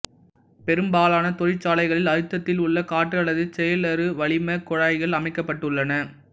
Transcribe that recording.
பெரும்பாலான தொழிற்சாலைகளில் அழுத்தத்தில் உள்ள காற்று அல்லது செயலறு வளிமக் குழாய்கள் அமைக்கப்பட்டுள்ளன